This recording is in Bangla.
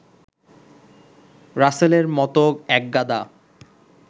রাসেলের মতো একগাদা